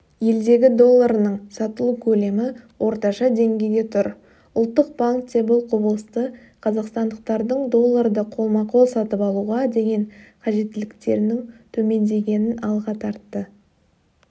елдегі долларының сатылу көлемі орташа деңгейде тұр ұлттық банкте бұл құбылысты қазақстандықтардың долларды қолма-қол сатып алуға деген қажеттіліктерінің төмендегенін алға тартты